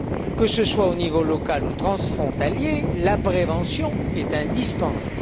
Que ce soit au niveau local ou transfrontalier, la prévention est indispensable.